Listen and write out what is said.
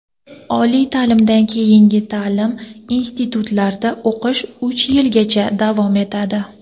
Oliy taʼlimdan keyingi taʼlim institutlarida o‘qish uch yilgacha davom etadi.